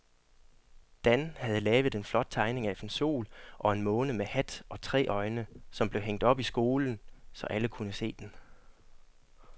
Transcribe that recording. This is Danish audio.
Dan havde lavet en flot tegning af en sol og en måne med hat og tre øjne, som blev hængt op i skolen, så alle kunne se den.